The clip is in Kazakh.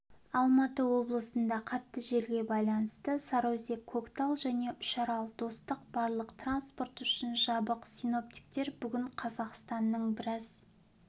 алматы облысында қатты желге байланысты сарыөзек-көктал және үшарал-достық барлық транспорт үшін жабық синоптиктер бүгін қазақстанның біраз